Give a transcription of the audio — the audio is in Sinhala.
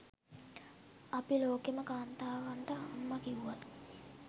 අපි ලෝකෙම කාන්තාවන්ට අම්ම කිව්වත්